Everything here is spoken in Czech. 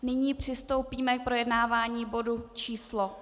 Nyní přistoupíme k projednávání bodu číslo